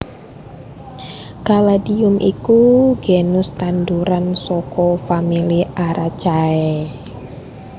Caladium iku genus tanduran saka famili Araceae